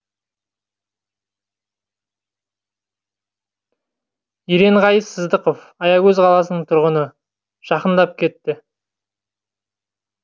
еренғайып сыздықов аягөз қаласының тұрғыны жақындап кетті